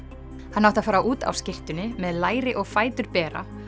hann átti að fara út á skyrtunni með læri og fætur bera